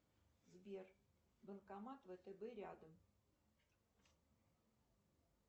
сбер банкомат втб рядом